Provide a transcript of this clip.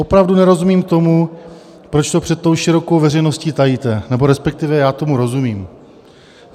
Opravdu nerozumím tomu, proč to před tou širokou veřejností tajíte, nebo respektive, já tomu rozumím.